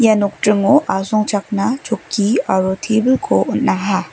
nokdringo asongchakna chokki aro tebilko on·aha.